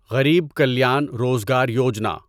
Garib Kalyan Rozgar Yojana